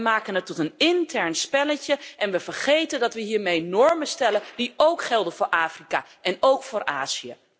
We maken het tot een intern spelletje en we vergeten dat we hiermee normen stellen die ook gelden voor Afrika en Azië.